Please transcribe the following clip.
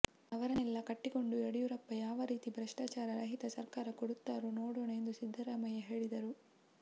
ಅವರನ್ನೆಲ್ಲ ಕಟ್ಟಿಕೊಂಡು ಯಡಿಯೂರಪ್ಪ ಯಾವ ರೀತಿ ಭ್ರಷ್ಟಾಚಾರ ರಹಿತ ಸರಕಾರ ಕೊಡುತ್ತಾರೋ ನೋಡೋಣ ಎಂದು ಸಿದ್ದರಾಮಯ್ಯ ಹೇಳಿದರು